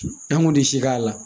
An kun tɛ si k'a la